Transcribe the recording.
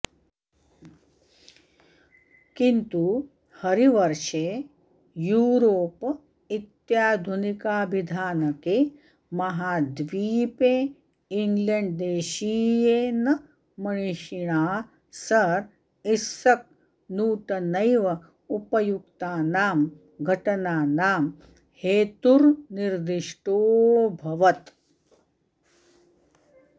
किन्तु हरिवर्षे यूरोप इत्याधुनिकाभिधानके महाद्वीपे इङ्ग्लण्ड्देशीयेन मणिषिणा सर् इस्सक् नूटनैव उपयुक्तानां घटनानां हेतुर्निदिष्टोऽभवत्